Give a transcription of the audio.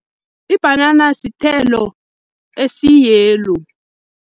Ibhanana sithelo esi-yellow.